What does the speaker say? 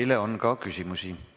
Teile on ka küsimusi.